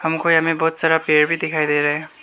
हमको यहां में बहुत सारा पेड़ भी दिखाई दे रहा है।